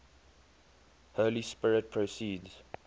holy spirit proceeds